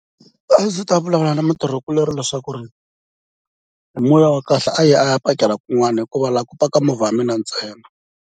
A ndzi ta vulavula na mutirhikulorhi leswaku hi moya wa kahle a yi a ya pakela kun'wana hikuva laha ku paka movha ya mina ntsena.